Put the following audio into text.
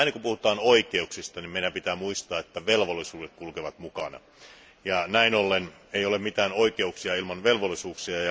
Aina kun puhutaan oikeuksista, meidän pitää muistaa, että velvollisuudet kulkevat mukana ja näin ollen ei ole mitään oikeuksia ilman velvollisuuksia.